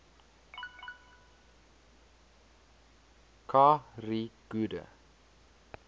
kha ri gude